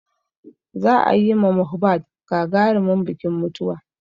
Za a yi ma Mohbad gagarimin bikin mutuwa.